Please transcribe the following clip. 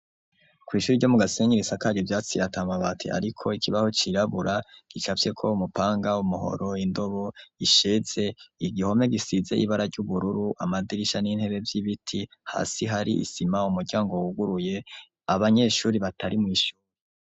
Kw'ishuri ryo mu gasengerisa karyu vyatsiratamabate, ariko ikibaho cirabura gicavyeko awo umupanga wumuhoro indobo isheze igihome gisizey ibara ry'ubururu amadirisha n'intere vy'ibiti hasi hari isima mu muryango wuguruye abanyeshuri batari mw'ishuri.